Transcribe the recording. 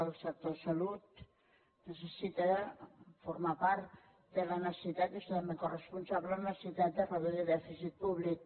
el sector salut necessita formar part de la necessitat i és totalment coresponsable de la necessitat de reduir el dèficit públic